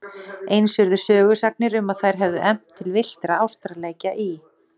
Eins urðu sögusagnir um að þær hefðu efnt til villtra ástarleikja í